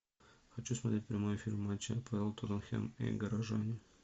хочу смотреть прямой эфир матча апл тоттенхэм и горожан